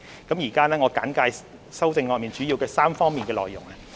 我現在簡介修正案的主要的3方面內容。